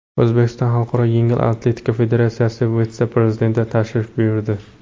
O‘zbekistonga Xalqaro yengil atletika federatsiyasi vitse-prezidenti tashrif buyurdi.